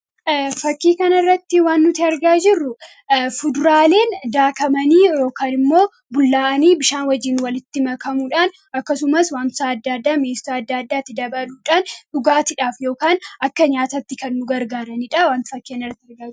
fakkii kana irratti waan nuti argaa jirru fuduraaleen daakamanii yookan immoo bishaan wajjiin walitti makamuudhaan akkasumas wanta adda addaatti dabaluudhaan dhugaatidhaaf yookaan akka nyaatatti kan nu gargaaraniidha.